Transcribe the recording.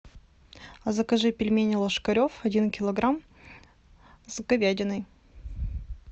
закажи пельмени ложкарев один килограмм с говядиной